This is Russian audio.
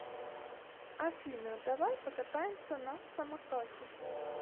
афина давай покатаемся на самокате